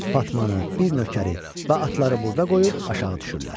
Fatmanı, bir nökəri və atları burda qoyub aşağı düşürlər.